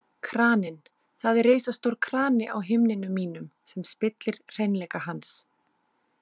Kraninn Það er risastór krani á himninum mínum sem spillir hreinleika hans.